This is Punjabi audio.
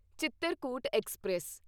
ਚਿਤਰਕੂਟ ਐਕਸਪ੍ਰੈਸ